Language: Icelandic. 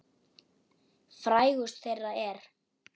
Frægust þeirra er